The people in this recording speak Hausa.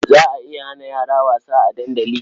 Za a iya hana yara wasa a dandali?